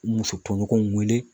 Muso tɔɲɔgɔnw wele